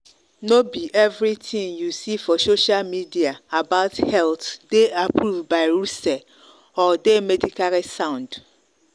no be everything you see for social media about health dey approved by russell or dey medically sound.